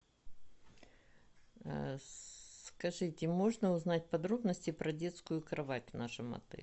скажите можно узнать подробности про детскую кровать в нашем отеле